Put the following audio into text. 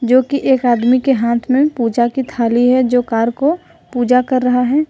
जो कि एक आदमी के हाथ में पूजा की थाली है जो कार को पूजा कर रहा है।